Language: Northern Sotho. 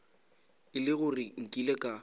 e le gore nkile ka